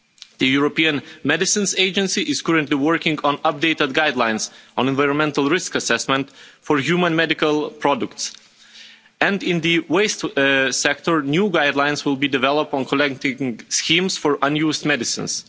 The European Medicines Agency is currently working on updated guidelines on environmental risk assessment for human medical products, and in the waste sector, new guidelines will be developed on collecting schemes for unused medicines.